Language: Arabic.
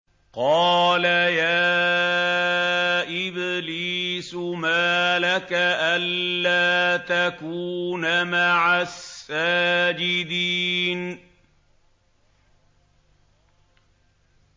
قَالَ يَا إِبْلِيسُ مَا لَكَ أَلَّا تَكُونَ مَعَ السَّاجِدِينَ